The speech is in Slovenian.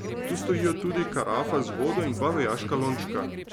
Tu stojijo tudi karafa z vodo in dva vojaška lončka.